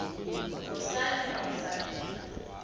ngosimon van der